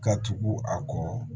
Ka tugu a kɔ